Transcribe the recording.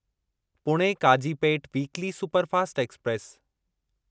Pune Kazipet weekly superfast express